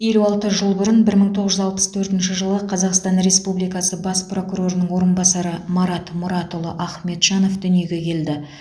елу алты жыл бұрын бір мың тоғыз жүз алпыс төртінші жылы қазақстан республикасы бас прокурорының орынбасары марат мұратұлы ахметжанов дүниеге келді